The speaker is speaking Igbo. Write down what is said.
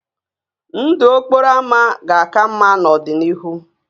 Ndụ okporo ámá ga-aka mma n'ọdịnihu